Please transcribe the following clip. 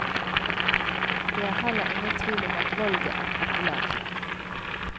Det er heller ingen tvil om at valget er populært.